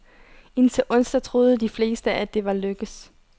Indtil onsdag troede de fleste, at det var lykkes.